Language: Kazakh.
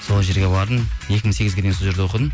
сол жерге бардым екі мың сегізге дейін сол жерде оқыдым